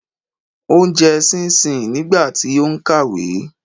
Ó ń jẹ ṣinsíǹ nígbà tí ó ń kàwé.